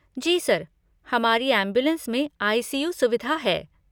जी sir! हमारी ambulance में ICU. सुविधा है।